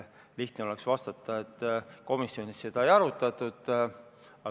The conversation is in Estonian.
Lihtne oleks vastata, et komisjonis seda ei arutatud.